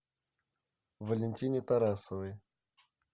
валентине тарасовой